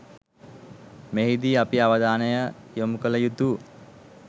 මෙහිදී අපි අවධානය යොමු කළ යුතු